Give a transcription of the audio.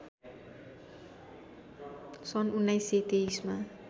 सन् १९२३मा